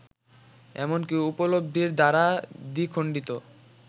এমনকি উপলব্ধির দ্বারা দ্বিখণ্ডিত।